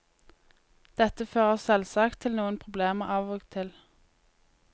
Dette fører selvsagt til noen problemer av og til.